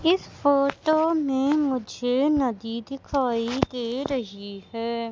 इस फोटो में मुझे नदी दिखाई दे रही है।